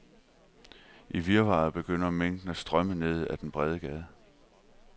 I virvaret begynder mængden at strømme ned ad den brede gade.